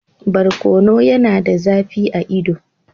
Barkono yana da zafi a ido.